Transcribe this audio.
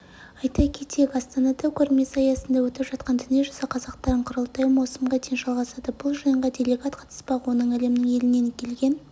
айта кетейік астанада көрмесі аясында өтіп жатқан дүниежүзі қазақтарының құрылтайы маусымға дейін жалғасады бұл жиынға делегат қатыспақ оның әлемнің елінен келген